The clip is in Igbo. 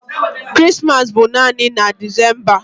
Krismas bụ naanị na Decemba